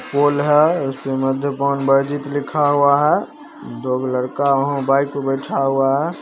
Pole हई लिखा हुआ है दो गो लड़का वहां बाइक पर बैठा हुआ है।